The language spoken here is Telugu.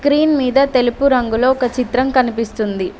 స్క్రీన్ మీద తెలుపు రంగులో ఒక చిత్రం కనిపిస్తుంది.